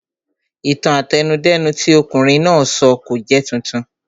Ìtàn àtẹnudẹ́nu tí ọ̀kunrin náà sọ kò jẹ́ titun